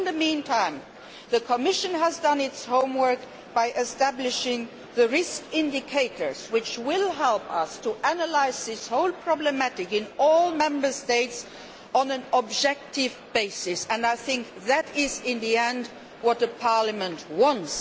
In the meantime, the Commission has done its homework by establishing the risk indicators that will help us to analyse this whole problem in all Member States on an objective basis. I think, in the end, that is what the Parliament wants.